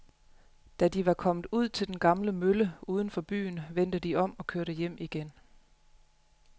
Da de var kommet ud til den gamle mølle uden for byen, vendte de om og kørte hjem igen.